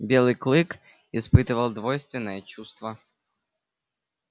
белый клык испытывал двойственное чувство